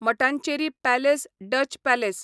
Mattancherry palace Dutch palace